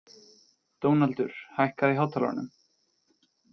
Dónaldur, hækkaðu í hátalaranum.